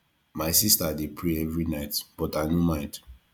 my sista dey pray every night but i no mind